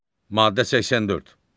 Maddə 84.